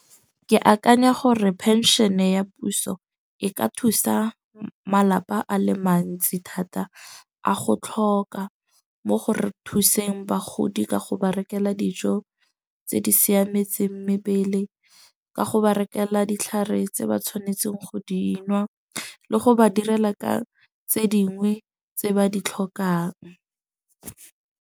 Ke akanya gore penšene ya puso e ka thusa malapa a le mantsi thata, a go tlhoka mo go re thuseng bagodi ka go ba rekela dijo tse di siametseng mebele. Ka go ba rekela ditlhare tse ba tshwanetseng, go dinwa le go ba direla ka tse dingwe tse ba di tlhokang.